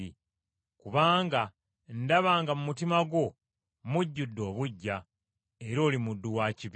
Kubanga ndaba nga mu mutima gwo mujjudde obuggya, era oli muddu wa kibi.”